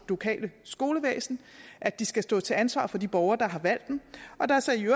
lokale skolevæsen at de skal stå til ansvar for de borgere der har valgt dem og at der så i